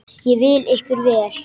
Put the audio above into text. Ég vil ykkur vel.